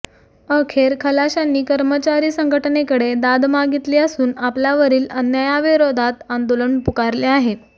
अखेर खलाशांनी कर्मचारी संघटनेकडे दाद मागितली असून आपल्यावरील अन्यायाविरोधात आंदोलन पुकारले आहे